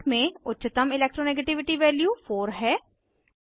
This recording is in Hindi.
चार्ट में उच्चतम electro नेगेटिविटी वैल्यू 4 है